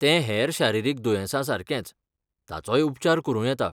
तें हेर शारिरीक दुयेंसा सारकेंच, ताचोय उपचार करूं येता.